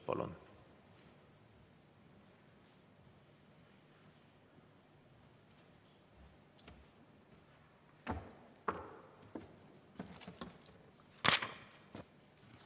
Palun!